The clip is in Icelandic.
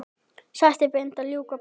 Slætti bændur ljúka brátt.